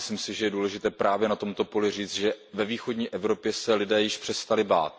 A myslím si, že je důležité právě na tomto poli říct, že ve východní Evropě se lidé již přestali bát.